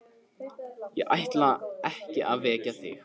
Ég ætlaði ekki að vekja þig.